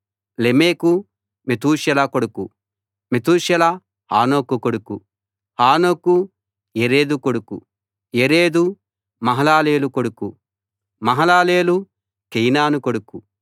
లెమెకు మెతూషెల కొడుకు మెతూషెల హనోకు కొడుకు హనోకు యెరెదు కొడుకు యెరెదు మహలలేలు కొడుకు మహలలేలు కేయినాను కొడుకు